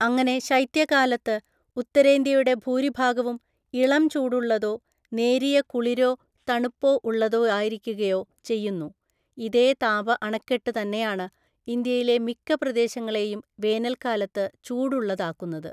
അങ്ങനെ ശൈത്യകാലത്ത് ഉത്തരേന്ത്യയുടെ ഭൂരിഭാഗവും ഇളംചൂടുള്ളതോ നേരിയ കുളിരോ തണുപ്പോ ഉള്ളതായിരിക്കുകയോ ചെയ്യുന്നു; ഇതേ താപ അണക്കെട്ട് തന്നെയാണ് ഇന്ത്യയിലെ മിക്ക പ്രദേശങ്ങളെയും വേനൽക്കാലത്ത് ചൂടുള്ളതാക്കുന്നത്.